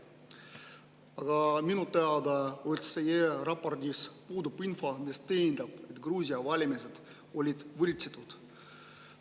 Aga minu teada OSCE raportis puudub info, mis tõendab, et Gruusia valimised olid võltsitud.